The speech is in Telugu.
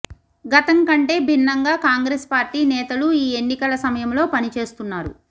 గతం కంటే భిన్నంగా కాంగ్రెస్ పార్టీ నేతలు ఈ ఎన్నికల సమయంలో పని చేస్తున్నారు